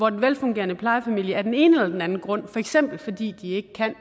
at den velfungerende plejefamilie af den ene eller den anden grund for eksempel fordi de ikke kan